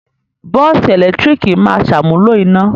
Bọ́ọ́sì ẹ̀lẹ́tíríkì máa ṣàmúlò iná.